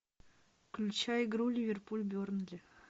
включай игру ливерпуль бернли